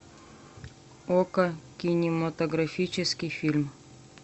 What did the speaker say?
окко кинематографический фильм